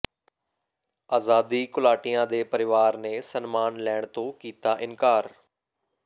ਆਜ਼ਾਦੀ ਘੁਲਾਟੀਆਂ ਦੇ ਪਰਿਵਾਰਾਂ ਨੇ ਸਨਮਾਨ ਲੈਣ ਤੋਂ ਕੀਤਾ ਇਨਕਾਰ